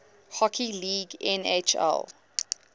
hockey league nhl